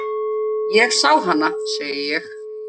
Ég sá hana, segi ég.